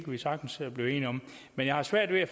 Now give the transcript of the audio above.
vi sagtens blive enige om men jeg har svært ved at